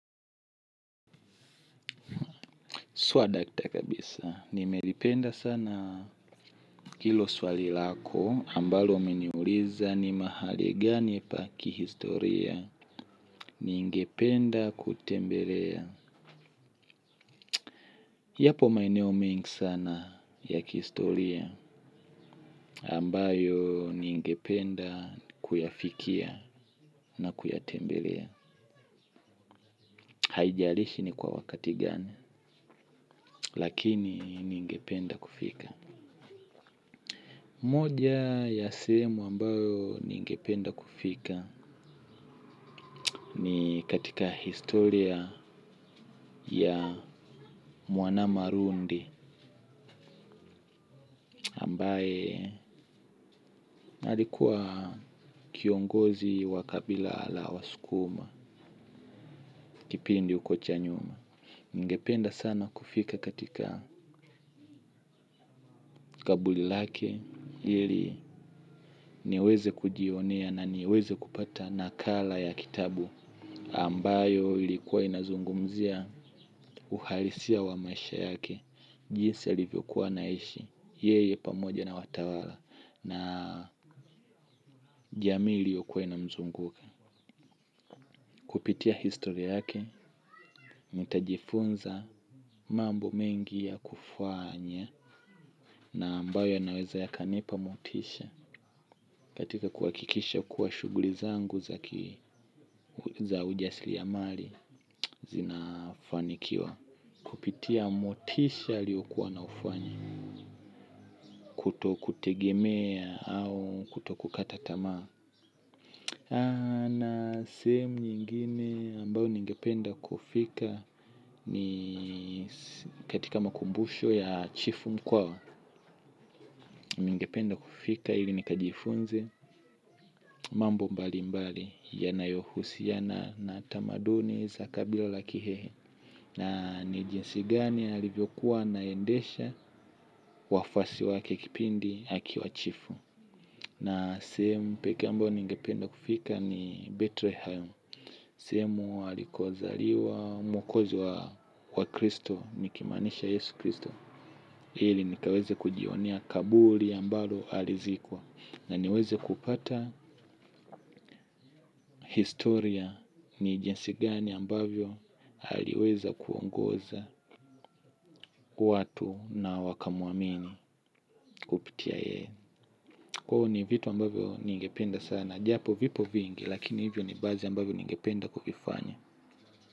Swadakta kabisa. Nimelipenda sana hilo swali lako ambalo umeniuliza ni mahali gani pa kihistoria ningependa kutembelea. Yapo maeneo mengi sana ya kihistoria ambayo ningependa kuyafikia na kuyatembelea. Haijalishi ni kwa wakati gani. Lakini ningependa kufika. Moja ya sehemu ambayo ningependa kufika ni katika historia ya muanama rundi ambaye alikuwa kiongozi wa kabila la waskuma kipindi huko cha nyuma. Ningependa sana kufika katika kaburi lake ili niweze kujionea na niweze kupata nakala ya kitabu ambayo ilikuwa inazungumzia uhalisia wa maisha yake, jinsi alivyokuwa anaishi, yeye pamoja na watawala na jamii iliyokuwa inamzunguka. Kupitia historia yake, nitajifunza mambo mengi ya kufanya na ambayo yanaweza yakanipa motisha katika kuhakikisha kuwa shughuli zangu za ki za ujasiriamali zinafanikiwa. Kupitia motisha aliyokuwa anaufanya kutokutegemea au kutokukata tamaa. Na sehemu nyingine ambayo ningependa kufika ni katika makumbusho ya chifu mkwa. Ningependa kufika ili nikajifunze mambo mbali mbali yanayohusiana na tamaduni za kabila la kihehe na ni jinsi gani alivyokuwa anaendesha wafuasi wake kipindi akiwa chifu. Na sehemu pekee ambayo ningependa kufika ni Bethlehem, sehemu alikozaliwa mwokozi wa Kristo nikimaanisha Yesu Kristo. Ili nikaweze kujionea kaburi ambalo alizikwa na niweze kupata historia ni jinsi gani ambavyo aliweza kuongoza watu na wakamuamini. Kupitia yeye. Ni vitu ambavyo ningependa sana japo vipo vingi lakini hivyo ni baadhi ambavyo ningependa kuvifanya.